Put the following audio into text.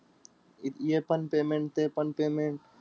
हे पण payment ते पण payment.